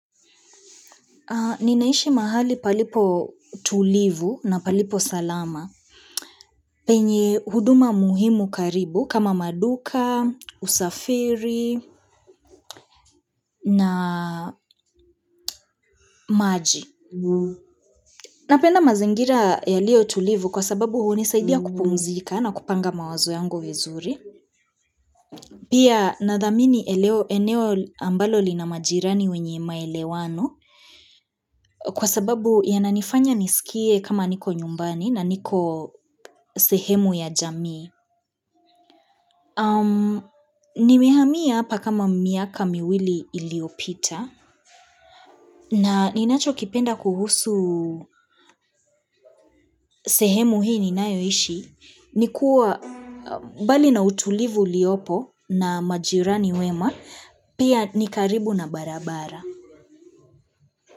Ninaishi mahali palipo tulivu na palipo salama penye huduma muhimu karibu kama maduka, usafiri na maji. Napenda mazingira yaliyo tulivu kwa sababu hunisaidia kupumzika na kupanga mawazo yangu vizuri. Pia nathamini eneo ambalo lina majirani wenye maelewano kwa sababu yananifanya nisikie kama niko nyumbani na niko sehemu ya jamii. Napenda mazingira yaliyo tulivu kwa sababu hunisaidia kupumzika na kupanga mawazo yangu vizuri. Na ninacho kipenda kuhusu sehemu hii ni nayoishi. Nikuwa bali na utulivu uliopo na majirani wema pia nikaribu na barabara.